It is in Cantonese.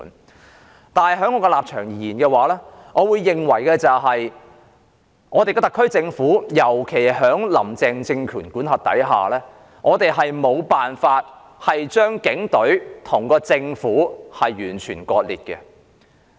我的立場是，我認為香港特區政府，尤其在"林鄭"政權管轄下，我們沒有辦法將警隊跟政府完全割裂。